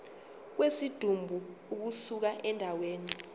kwesidumbu ukusuka endaweni